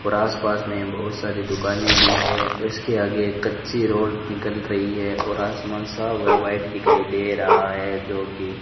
और आसपास में बहुत सारी दुकानें भी है उसके आगे एक कच्ची रोड निकल रही है और आसमान साफ है व्हाइट दिखाई दे रहा है जो कि --